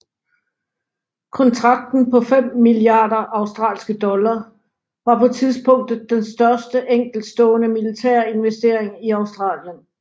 Kontrakten på fem milliarder australske dollar var på tidspunktet den største enkeltstående militære investering i Australien